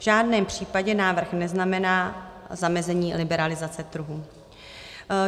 V žádném případě návrh neznamená zamezení liberalizace trhu.